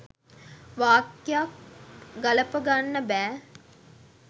වාක්‍යක් ගලපගන්න බෑ